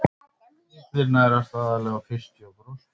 Illir nærast aðallega á fiski og froskum.